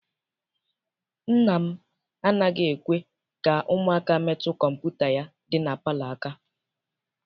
Nna m anaghị ekwe ka ụmụaka metụ kọmputa ya dị na palọ aka.